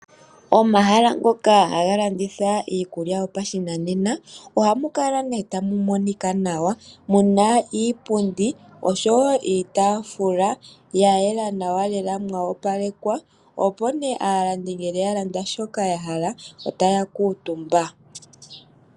Omahala ngoka haga landitha iikulya yopashinanena ohamu kala nee tamu monika nawa muna iipundi osho woo iitafula yayela nawa lela mwa opalekwa opo nee aalandi yalanda shoka yahala otaya kuutumba.